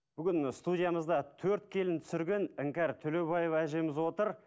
бүгін студиямызда төрт келін түсірген іңкәр төлеубаева әжеміз отыр